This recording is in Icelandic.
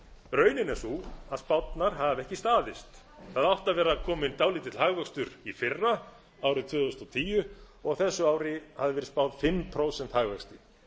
raunin er sú að spárnar hafa ekki staðist það átti að vera kominn dálítill hagvöxtur í fyrra árið tvö þúsund og tíu og þessu ári hafði verið spáð fimm prósenta